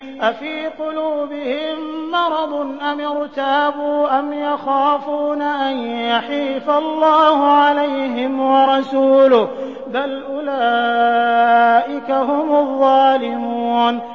أَفِي قُلُوبِهِم مَّرَضٌ أَمِ ارْتَابُوا أَمْ يَخَافُونَ أَن يَحِيفَ اللَّهُ عَلَيْهِمْ وَرَسُولُهُ ۚ بَلْ أُولَٰئِكَ هُمُ الظَّالِمُونَ